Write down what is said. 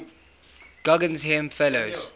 guggenheim fellows